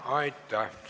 Aitäh!